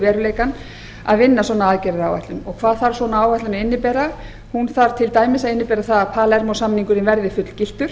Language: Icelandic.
veruleikann að vinna svona aðgerðaráætlun og hvað þarf svona áætlun að innibera hún þarf til dæmis að innibera það að palermó samningurinn verði fullgiltur